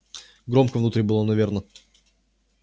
громко внутри было наверное